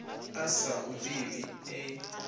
a sa hu ḓivhi e